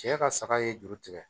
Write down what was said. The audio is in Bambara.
Cɛ ka saga ye juru tigɛ